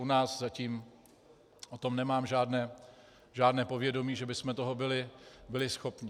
U nás zatím o tom nemám žádné povědomí, že bychom toho byli schopni.